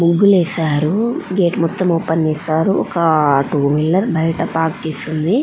ముగ్గులు ఏసారు గేట్ మొత్తం ఓపెన్ చేసారు. ఒక టూ వీలర్ బైట పార్క్ చేసి ఉంది.